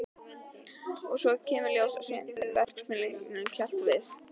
Og svo kemur í ljós að Sveinbjörn verksmiðjueigandi hélt við